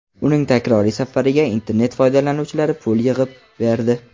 Uning takroriy safariga internet foydalanuvchilari pul yig‘ib berdi.